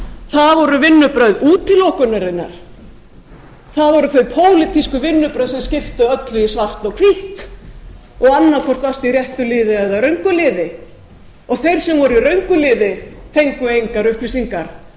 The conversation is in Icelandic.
það voru vinnubrögð útilokunarinnar það voru þau pólitísku vinnubrögð sem skiptu öllu í svart og hvítt og annaðhvort allt í réttu liði eða röngu liði og þeir sem voru í röngu liði fengu engar upplýsingar